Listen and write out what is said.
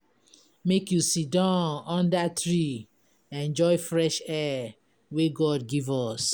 Make you siddon under tree enjoy fresh air wey God give us.